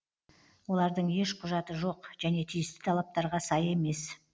олардың еш құжаты жоқ және тиісті талаптарға сай емес